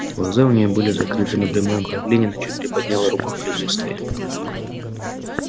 глаза у нее были закрыты но при моем появлении она чуть приподняла руку в приветствии